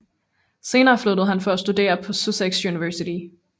Senere flyttede han for at studere på Sussex Universitet